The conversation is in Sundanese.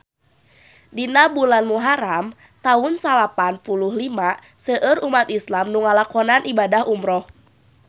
Dina bulan Muharam taun salapan puluh lima seueur umat islam nu ngalakonan ibadah umrah